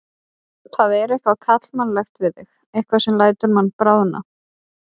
Það er eitthvað karlmannlegt við þig, eitthvað sem lætur mann bráðna.